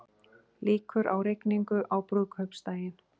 Líkur á rigningu á brúðkaupsdaginn